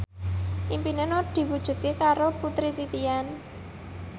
impine Nur diwujudke karo Putri Titian